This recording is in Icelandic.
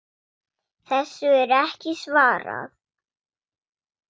Þessu er ekki svarað.